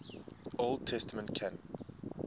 old testament canon